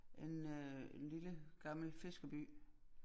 En øh en lille gammel fiskerby